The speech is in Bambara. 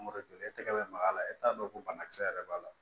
Mangoro joli tɛgɛ bɛ maga la e t'a dɔn ko banakisɛ yɛrɛ b'a la